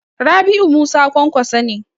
Rabi'u Musa Kwankwaso ne.